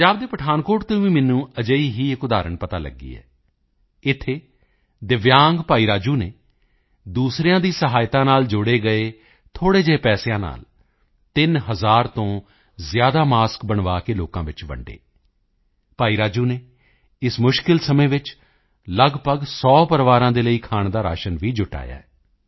ਪੰਜਾਬ ਦੇ ਪਠਾਨਕੋਟ ਤੋਂ ਵੀ ਇੱਕ ਅਜਿਹੀ ਹੀ ਉਦਾਹਰਣ ਮੈਨੂੰ ਪਤਾ ਚਲੀ ਇੱਥੇ ਦਿੱਵਯਾਂਗ ਭਾਈ ਰਾਜੂ ਨੇ ਦੂਸਰਿਆਂ ਦੀ ਸਹਾਇਤਾ ਨਾਲ ਜੋੜੇ ਗਏ ਥੋੜ੍ਹੇ ਜਿਹੇ ਪੈਸਿਆਂ ਨਾਲ ਤਿੰਨ ਹਜ਼ਾਰ ਤੋਂ ਜ਼ਿਆਦਾ ਮਾਸਕ ਬਣਵਾ ਕੇ ਲੋਕਾਂ ਵਿੱਚ ਵੰਡੇ ਭਾਈ ਰਾਜੂ ਨੇ ਇਸ ਮੁਸ਼ਕਲ ਸਮੇਂ ਵਿੱਚ ਲਗਭਗ 100 ਪਰਿਵਾਰਾਂ ਲਈ ਖਾਣ ਦਾ ਰਾਸ਼ਨ ਵੀ ਜੁਟਾਇਆ ਹੈ